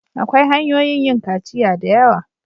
Akwai hanyoyin yin kaciya da yawa.